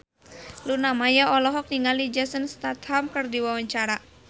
Luna Maya olohok ningali Jason Statham keur diwawancara